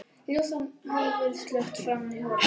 Ljósin hafa verið slökkt frammi í holi.